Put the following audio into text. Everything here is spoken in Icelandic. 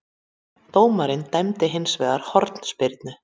Dómarinn dæmdi hins vegar hornspyrnu